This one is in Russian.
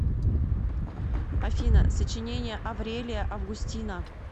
афина сочинение аврелия августина